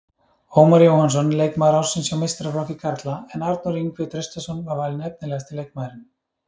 Ómar Jóhannsson leikmaður ársins hjá meistaraflokki karla en Arnór Ingvi Traustason var valinn efnilegasti leikmaðurinn.